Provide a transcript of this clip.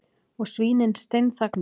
Og svínin steinþagna.